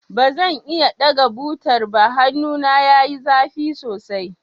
Ba zan iya ɗaga butar ba, hannun yayi zafi sosai.